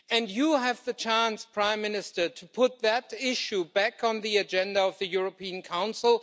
You have the chance, Prime Minister, to put that issue back on the agenda of the European Council.